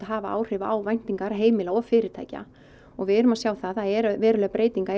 hafa áhrif á væntingar heimila og fyrirtækja og við erum að sjá það að það eru verulegar breytingar